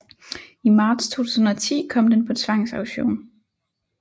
I marts 2010 kom den på tvangsauktion